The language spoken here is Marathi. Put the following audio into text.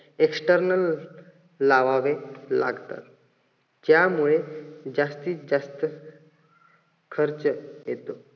external लावावे लागतात. त्यामुळे जास्तीत जास्त खर्च येतो.